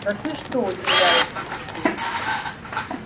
да ты что удивляется сергей